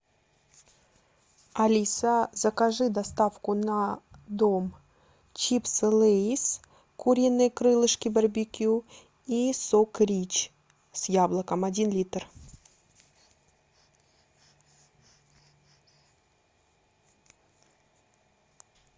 алиса закажи доставку на дом чипсы лейс куриные крылышки барбекю и сок рич с яблоком один литр